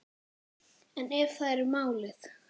En ef það er málið?